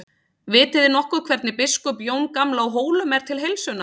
Vitiði nokkuð hvernig biskup Jón gamli á Hólum er til heilsunnar?